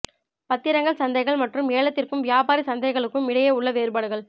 பத்திரங்கள் சந்தைகள் மற்றும் ஏலத்திற்கும் வியாபாரி சந்தைகளுக்கும் இடையே உள்ள வேறுபாடுகள்